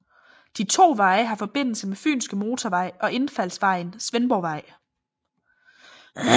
De to veje har forbindelse med Fynske Motorvej og indfaldsvejen Svendborgvej